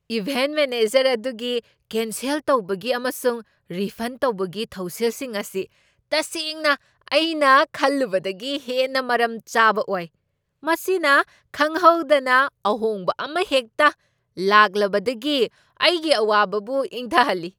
Event manager ꯑꯗꯨꯒꯤ cancel ꯇꯧꯕꯒꯤ ꯑꯃꯁꯨꯡ ꯔꯤꯐꯟ ꯇꯧꯕꯒꯤ ꯊꯧꯁꯤꯜꯁꯤꯡ ꯑꯁꯤ ꯇꯁꯦꯡꯅ ꯑꯩꯅ ꯈꯜꯂꯨꯕꯗꯒꯤ ꯍꯦꯟꯅ ꯃꯔꯝ ꯆꯥꯕ ꯑꯣꯏ꯫ ꯃꯁꯤꯅ ꯈꯪꯍꯧꯗꯅ ꯑꯍꯣꯡꯕ ꯑꯃꯍꯦꯛꯇ ꯂꯥꯛꯂꯕꯗꯒꯤ ꯑꯩꯒꯤ ꯋꯥꯈꯜꯕꯨ ꯏꯪꯊꯍꯜꯂꯤ꯫